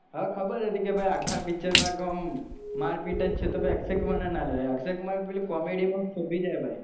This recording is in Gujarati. હ ખબર હશે આખા picture માં કે ઓમ માર પીટ છે તો પછી અક્ષય કુમારને ના લેવાય અક્ષય કુમાર પેલી comedy શોભી જાય ભાઈ,